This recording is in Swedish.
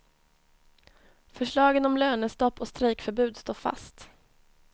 Förslagen om lönestopp och strejkförbud står fast.